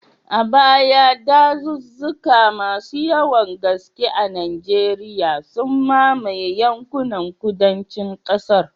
A baya, dazuzzuka masu yawan gaske a Najeriya, sun mamaye yankunan kudancin kasar.